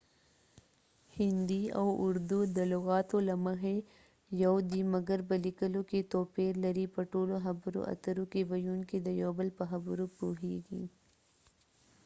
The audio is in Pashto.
هندي او اردو د لغاتو له مخی یو دي مګر په لیکلو کې توپیر لري :په ټولو خبرو اترو کې ويونکې د یو بل په خبرو پوهیږی